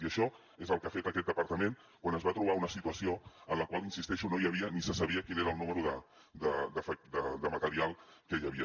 i això és el que ha fet aquest departament quan es va trobar una situació en la qual hi insisteixo no hi havia ni se sabia quin era el número de material que hi havia